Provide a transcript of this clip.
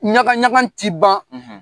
Ɲagan ɲagan tɛ ban.